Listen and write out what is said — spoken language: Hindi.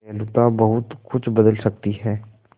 दयालुता बहुत कुछ बदल सकती है